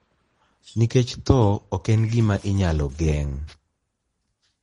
Nikech tho ok en gima inyalo geng`,